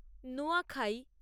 Nuakhai